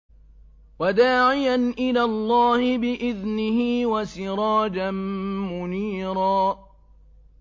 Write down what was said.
وَدَاعِيًا إِلَى اللَّهِ بِإِذْنِهِ وَسِرَاجًا مُّنِيرًا